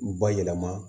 U bayɛlɛma